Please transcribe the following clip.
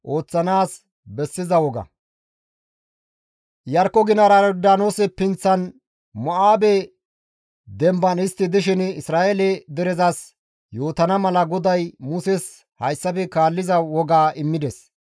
Iyarkko ginara Yordaanoose pinththan Mo7aabe demban istti dishin Isra7eele derezas yootana mala GODAY Muses hayssafe kaalliza wogaa immides.